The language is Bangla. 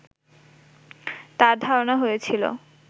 তাঁর ধারণা হয়েছিল